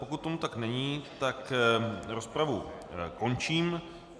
Pokud tomu tak, není, tak rozpravu končím.